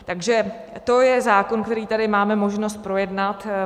Takže to je zákon, který tady máme možnost projednat.